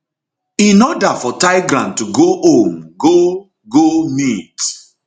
in order for tigran to go home go go meet